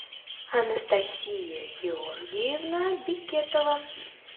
анастасия георгиевна бекетова